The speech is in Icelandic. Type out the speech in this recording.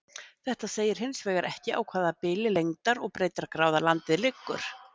Þetta segir hins vegar ekki á hvaða bili lengdar- og breiddargráða landið liggur.